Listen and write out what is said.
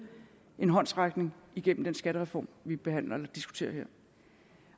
en håndsrækning igennem den skattereform vi behandler og diskuterer her